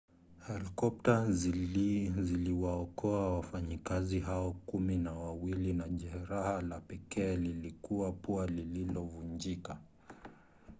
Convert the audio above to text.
helikopta ziliwaokoa wafanyakazi hao kumi na wawili na jeraha la pekee lilikuwa pua lililovunjika